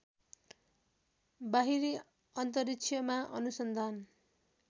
बाहिरी अन्तरिक्षमा अनुसन्धान